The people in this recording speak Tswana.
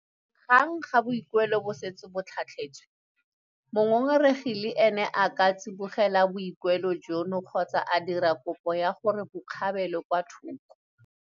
Gang fa boikuelo bo setse bo tlhatlhetswe, mongongoregi le ene a ka tsibogela boikuelo jono kgotsa a dira kopo ya gore bo kgapelwe kwa thoko.